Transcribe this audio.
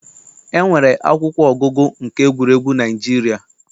E nwere akwụkwọ ọgụgụ nke egwuregwu na Naịjirịa.